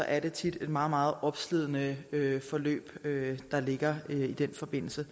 er det tit et meget meget opslidende forløb der ligger i forbindelse